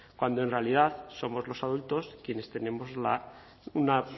cuando en realidad somos los adultos quienes tenemos una